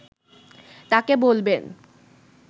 তাঁকে বলবেন